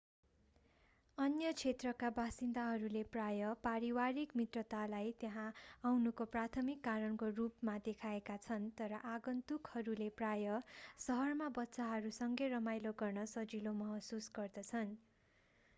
अन्य क्षेत्रका बासिन्दाहरूले प्रायः पारिवारिक मित्रतालाई त्यहाँ आउनुको प्राथमिक कारणको रूपमा देखाएका छन् र आगन्तुकहरूले प्राय: सहरमा बच्चाहरूसँगै रमाइलो गर्न सजिलो महसुस गर्छन्‌।